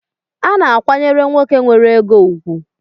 A na-akwayere nwoke nwere ego ụgwụ